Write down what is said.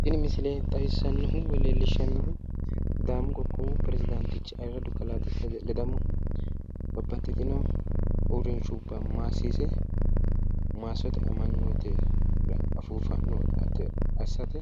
Tini misile leellishshannonkehu woy xawissannonkehu sidaamu qoqqowi peresidaantichi ayiirradu kalaa desta ledamohu babbaxxitino uurrinshubba maassiise maassote amanyoote affi fa'note assate